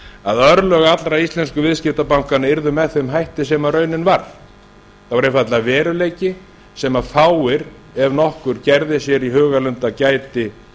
að örlög allra íslensku viðskiptabankanna yrðu með þeim hætti sem raunin varð það var einfaldlega veruleiki sem fáir ef nokkur gerði sér í hugarlund að gæti